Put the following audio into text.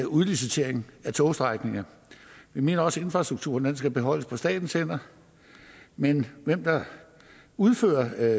udlicitering af togstrækninger vi mener også at infrastrukturen skal bevares på statens hænder men hvem der udfører